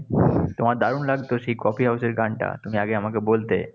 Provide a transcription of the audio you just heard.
তোমার দারুন লাগতো সেই coffee house র গানটা, তুমি আগে আমাকে বলতে।